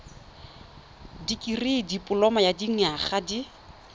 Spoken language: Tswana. dikirii dipoloma ya dinyaga di